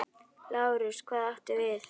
LÁRUS: Hvað áttu við?